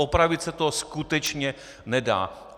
Opravit se to skutečně nedá.